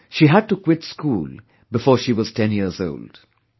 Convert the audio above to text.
She had to quit school before she was 10yearsold